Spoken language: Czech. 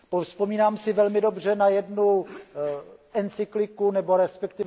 Vzpomínám si velmi dobře na jednu encykliku, nebo resp.